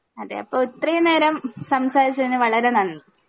അതെ അപ്പൊ ഇത്രേം നേരം സംസാരിച്ചതിന് വളരെ നന്ദി